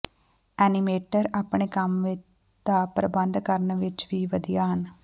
animator ਆਪਣੇ ਕੰਮ ਦਾ ਪ੍ਰਬੰਧ ਕਰਨ ਵਿਚ ਵੀ ਵਧੀਆ ਹਨ